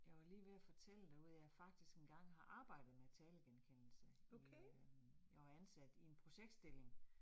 Jeg var lige ved at fortælle derude, at jeg faktisk engang har arbejdet med talegenkendelse i øh jeg var ansat i en projektstilling